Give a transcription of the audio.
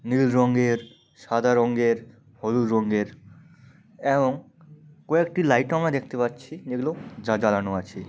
নীল রঙের সাদা রঙের হলুদ রঙের এবং কয়েকটি লাইটও আমার দেখতে পাচ্ছি যেগুলো জা-জ্বালানো আছে।